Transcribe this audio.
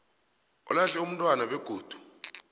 olahle umntwana begodu